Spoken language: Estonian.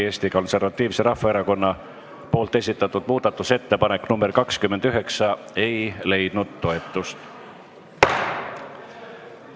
Eesti Konservatiivse Rahvaerakonna esitatud muudatusettepanek nr 29 ei leidnud toetust.